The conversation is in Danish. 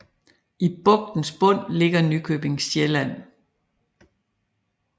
I bugtens bund ligger Nykøbing Sjælland